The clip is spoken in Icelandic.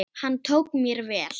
Hann tók mér vel.